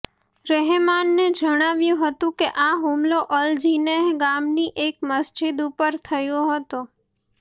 રહેમાનને જણાવ્યું હતું કે આ હુમલો અલ જિનેહ ગામની એક મસ્જિદ ઉપર થયો હતો